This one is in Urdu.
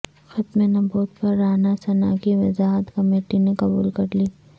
ختم نبوت پر رانا ثنا کی وضاحت کمیٹی نے قبول کرلی